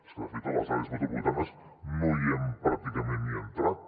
és que de fet a les àrees metropolitanes no hi hem pràcticament ni entrat